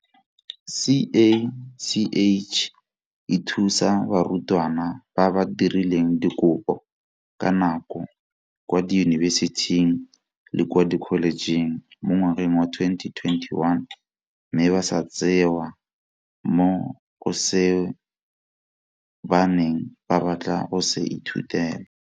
CACH e thusa barutwana ba ba dirileng dikopo ka nako kwa diyunibesiting le kwa dikholejeng mo ngwageng wa 2021 mme ba sa tseewa mo go seo ba neng ba batla go se ithutela.